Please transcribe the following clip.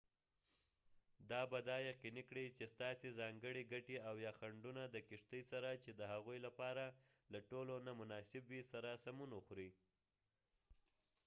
دا به دا یقیني کړي چې ستاسې ځانګړې ګټې او یا خنډونه د کشتۍ سره چې د هغوۍ لپاره له ټولو نه مناسب وي سره سمون وخوري